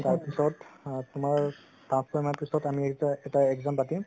তাৰ পিছত আ তুমাৰ পাচঁ চয় মাহ মান পিছত এটা exam পাতিম